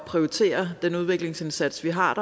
prioritere den udviklingsindsats vi har